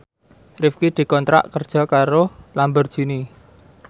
Rifqi dikontrak kerja karo Lamborghini